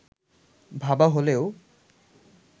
ভাবা হলেও